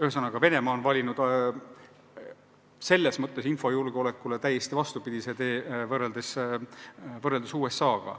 Ühesõnaga, Venemaa on valinud infojulgeoleku vallas täiesti vastupidise tee kui USA.